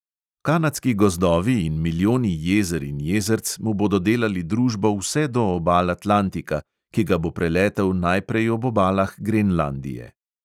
Kanadski gozdovi in milijoni jezer in jezerc mu bodo delali družbo vse do obal atlantika, ki ga bo preletel najprej ob obalah grenlandije.